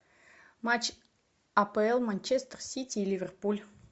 матч апл манчестер сити ливерпуль